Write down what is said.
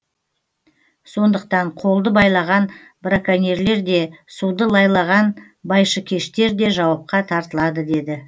сондықтан қолды байлаған браконьерлер де суды лайлаған байшыкештер де жауапқа тартылады деді